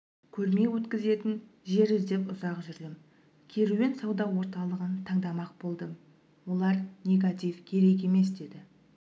көрме өткізетін жер іздеп ұзақ жүрдім керуен сауда орталығын таңдамақ болдым олар негатив керек емес деді